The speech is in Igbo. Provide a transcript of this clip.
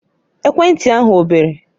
Ekwentị ahụ ọ bere?